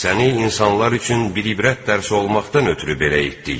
Səni insanlar üçün bir ibrət dərsi olmaqdan ötrü belə etdik.